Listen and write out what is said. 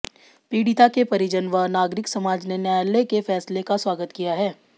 पीड़िता के परिजन व नागरिक समाज ने न्यायालय के फैसले का स्वागत किया है